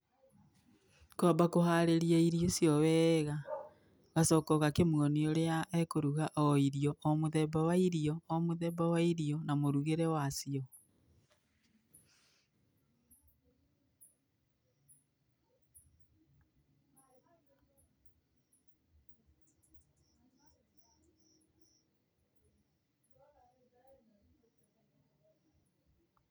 Kũamba kũharĩria ĩrĩo icio wega, ũgacoka ũgakĩmuonia ũrĩa ekũruga o ĩrĩo, o mũthemba wa ĩrĩo o mũthemba wa ĩrĩo na mũrugire wacio.